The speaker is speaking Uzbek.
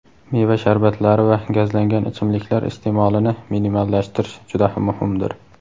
meva sharbatlari va gazlangan ichimliklar iste’molini minimallashtirish juda muhimdir.